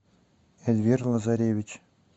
эльвира назаревич